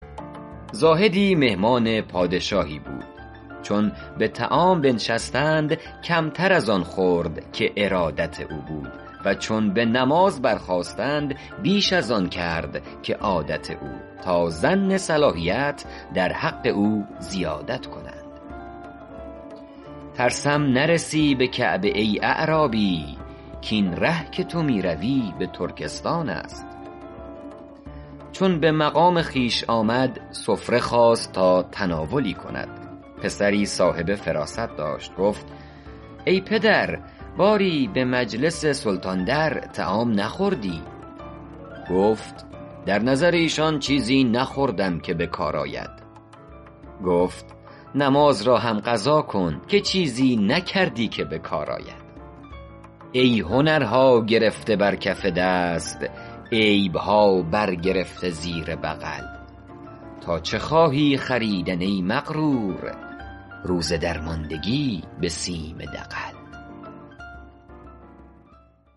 زاهدی مهمان پادشاهی بود چون به طعام بنشستند کمتر از آن خورد که ارادت او بود و چون به نماز برخاستند بیش از آن کرد که عادت او تا ظن صلاحیت در حق او زیادت کنند ترسم نرسی به کعبه ای اعرابی کاین ره که تو می روی به ترکستان است چون به مقام خویش آمد سفره خواست تا تناولی کند پسری صاحب فراست داشت گفت ای پدر باری به مجلس سلطان در طعام نخوردی گفت در نظر ایشان چیزی نخوردم که به کار آید گفت نماز را هم قضا کن که چیزی نکردی که به کار آید ای هنرها گرفته بر کف دست عیبها بر گرفته زیر بغل تا چه خواهی خریدن ای مغرور روز درماندگی به سیم دغل